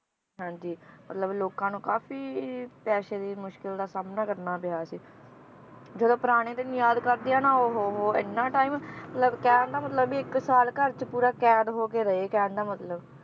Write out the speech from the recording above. ਹਾਂਜੀ ਮਤਲਬ ਲੋਕਾਂ ਨੂੰ ਕਾਫੀ ਪੈਸੇ ਦੀ ਮੁਸ਼ਕਿਲ ਦਾ ਸਾਮਣਾ ਕਰਨਾ ਪਿਆ ਸੀ ਜਦੋਂ ਪੁਰਾਣੇ ਦਿਨ ਯਾਦ ਕਰਦੀ ਆ ਨਾ ਉਹ ਹੋ ਹੋ ਇੰਨਾ time ਮਤਲਬ ਕਹਿਣ ਦਾ ਮਤਲਬ ਵੀ ਇਕ ਸਾਲ ਘਰ ਚ ਪੂਰਾ ਕੈਦ ਹੋਕੇ ਰਹੇ ਕਹਿਣ ਦਾ ਮਤਲਬ